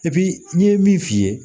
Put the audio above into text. n ye min f'i ye